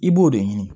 I b'o de ɲini